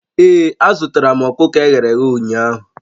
Ee, azụtaram ọkụkọ e ghere eghe ụnyaahụ